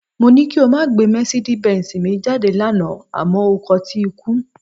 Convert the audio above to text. Mó ní kí o máa gbé mercedez benz mi jáde lánàá àmọ́ o kọtí ikún